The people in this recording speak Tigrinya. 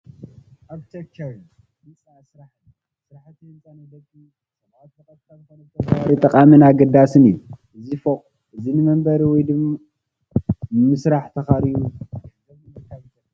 ኣርክቴክቸርን ህንፃ ስራሕን፡- ስራሕቲ ህንፃ ንደቂ ሰባት ብቐጥታ ኮነ ብተዘዋዋሪ ጠቃምን ኣገዳስን እዩ፡፡ እዚ ፎቕ እዚ ንመንበሪ ወይ ንስራሕ ተኻርዩ ገንዘብ ንምርካብ ይጠቅም፡፡